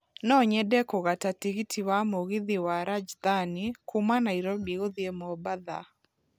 No nyende kũgata tigiti wa mũgithi wa Rajdhani kuuma Nairobi gũthiĩ mombatha